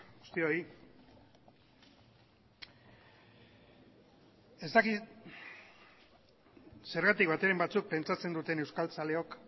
guztioi ez dakit zergatik bateren batzuk pentsatzen duten euskaltzaleok